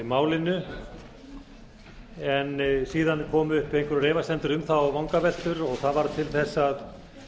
málinu en síðan komu upp einhverjar efasemdir um það og vangaveltur sem varð til þess að